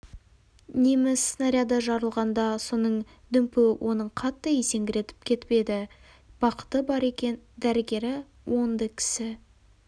неміс снаряды жарылғанда соның дүмпуі оны қатты есеңгіретіп кетіп еді бақыты бар екен дәрігері оңды кісі